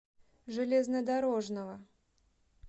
железнодорожного